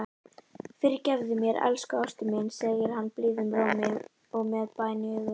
Fyrirgefðu mér, elsku ástin mín, segir hann blíðum rómi og með bæn í augum.